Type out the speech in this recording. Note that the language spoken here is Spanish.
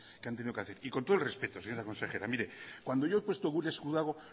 que han tenido que hacer y con todo el respeto señora consejera mire cuando yo he puesto gure esku dago